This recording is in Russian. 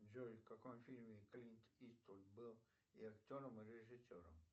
джой в каком фильме клинт иствуд был и актером и режиссером